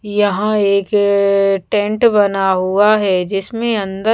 यहाँ एक टेंट बना हुआ है जिसमें अन्दर--